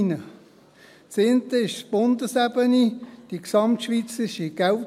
Die eine ist die Bundesebene, das GSK.